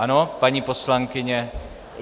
Ano, paní poslankyně.